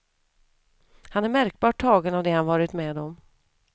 Han är märkbart tagen av det han varit med om.